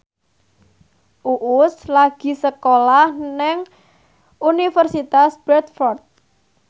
Uus lagi sekolah nang Universitas Bradford